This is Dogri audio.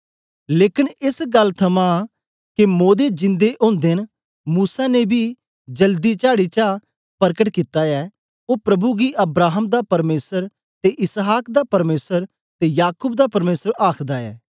लेकन एस गल्ल थमां के मोदे जिन्दे ओदे न मूसा ने बी जलदी चाडी चा परकट कित्ता ऐ ओ प्रभु गी अब्राहम दा परमेसर ते इसहाक दा परमेसर ते याकूब दा परमेसर आखदा ऐ